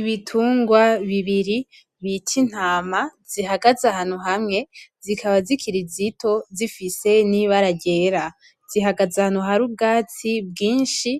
Ibitungwa bibiri bita intama zihagaze ahantu hamwe zikaba zikirinto zifise n'ibara ryera zihagaze ahantu hari ubwatsi bwinshi